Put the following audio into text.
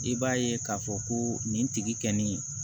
I b'a ye k'a fɔ ko nin tigi nin